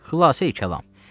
Xülasəyi kəlam.